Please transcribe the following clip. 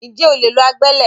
Ǹjẹ́ o lè lo agbẹ́lẹ̀?